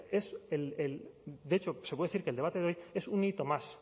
de hecho se puede decir que el debate de hoy es